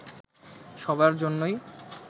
সবার জন্যই